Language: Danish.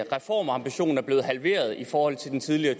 reformambition er blevet halveret i forhold til den tidligere